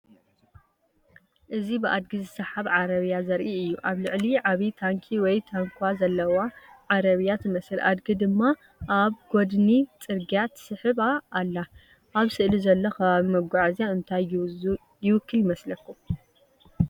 እዚ ብኣድጊ ዝስሓብ ዓረብያ ዘርኢ እዩ። ኣብ ልዕሊኣ ዓቢ ታንኪ ወይ ታንኳ ዘለዋ ዓረብያ ትመስል፡ ኣድጊ ድማ ኣብ ጎድኒ ጽርግያ ትስሕባ ኣላ። ኣብ ስእሊ ዘሎ ኣከባቢ መጓዓዝያ እንታይ ይውክል ይመስለኩም?